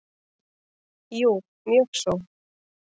Jú mjög svo.